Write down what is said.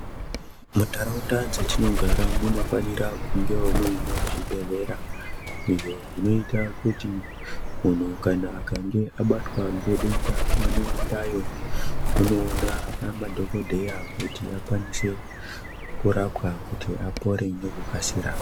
Muntaraunda dzetinogara munofanira kungewo muine zvibhehlera izvo zvinoita kuti munhu kana akange abatwa ngedenda anoendayo onoona madhogodheya kuti akwanise kurapwa kuti apore ngekukasira.